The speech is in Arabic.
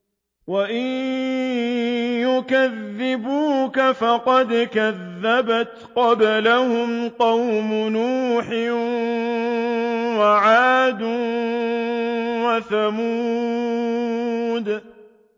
وَإِن يُكَذِّبُوكَ فَقَدْ كَذَّبَتْ قَبْلَهُمْ قَوْمُ نُوحٍ وَعَادٌ وَثَمُودُ